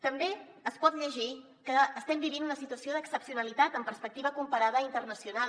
també es pot llegir que estem vivint una situació d’excepcionalitat en perspectiva comparada i internacional